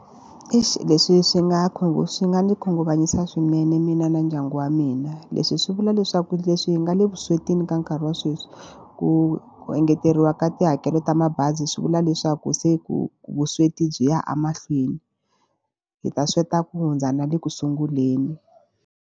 Eish leswi swi nga swi nga ni khunguvanyisa swinene mina na ndyangu wa mina. Leswi swi vula leswaku leswi hi nga le vuswetini ka nkarhi wa sweswi, ku ku engeteriwa ka tihakelo ta mabazi swi vula leswaku se ku vusweti byi ya emahlweni. Hi ta sweta ku hundza na le ku sunguleni.